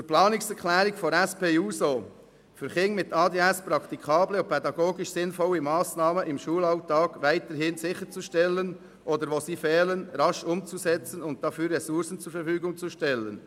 Zur Planungserklärung der SP-JUSO-PSA-Fraktion «für Kinder mit ADHS praktikable und pädagogisch sinnvolle Massnahmen im Schulalltag weiterhin sicherzustellen, oder wo sie fehlen, rasch umzusetzen und dafür Ressourcen zur Verfügung zu stellen».